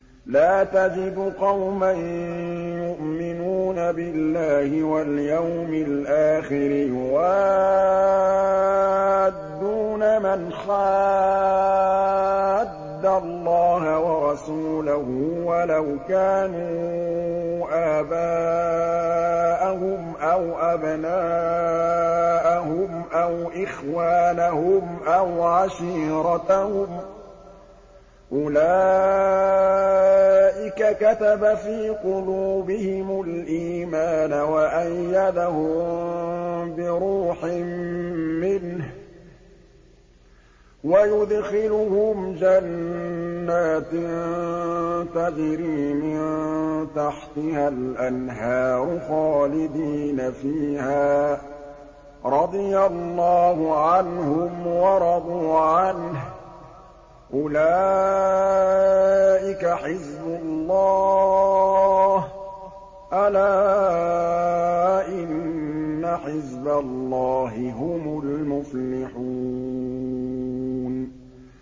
لَّا تَجِدُ قَوْمًا يُؤْمِنُونَ بِاللَّهِ وَالْيَوْمِ الْآخِرِ يُوَادُّونَ مَنْ حَادَّ اللَّهَ وَرَسُولَهُ وَلَوْ كَانُوا آبَاءَهُمْ أَوْ أَبْنَاءَهُمْ أَوْ إِخْوَانَهُمْ أَوْ عَشِيرَتَهُمْ ۚ أُولَٰئِكَ كَتَبَ فِي قُلُوبِهِمُ الْإِيمَانَ وَأَيَّدَهُم بِرُوحٍ مِّنْهُ ۖ وَيُدْخِلُهُمْ جَنَّاتٍ تَجْرِي مِن تَحْتِهَا الْأَنْهَارُ خَالِدِينَ فِيهَا ۚ رَضِيَ اللَّهُ عَنْهُمْ وَرَضُوا عَنْهُ ۚ أُولَٰئِكَ حِزْبُ اللَّهِ ۚ أَلَا إِنَّ حِزْبَ اللَّهِ هُمُ الْمُفْلِحُونَ